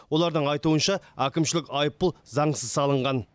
олардың айтуынша әкімшілік айыппұл заңсыз салынған